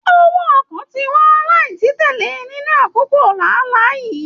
Owó ọkọ tí wọn láì titẹlẹ nínú àkókò lààlá yìí.